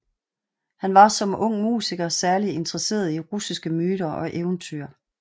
Han var som ung musiker særligt interesseret i russiske myter og eventyr